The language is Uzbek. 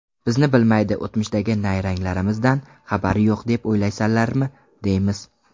Bizni bilmaydi, o‘tmishdagi nayranglarimizdan xabari yo‘q deb o‘ylaysanlarmi, deymiz.